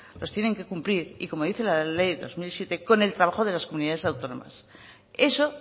los tienen que cumplir y como dice la ley del dos mil siete con el trabajo de las comunidades autónomas eso